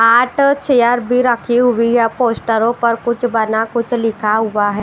आठ चेयर भी रखी हुई है पोस्टरों पर कुछ बना कुछ लिखा हुआ है।